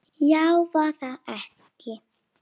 Já, var það ekki?